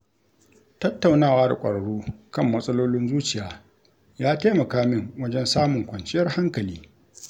Tattaunawa da ƙwararru kan matsalolin zuciya ya taimaka min wajen samun kwanciyar hankali.